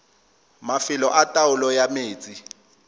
mafelo a taolo ya metsi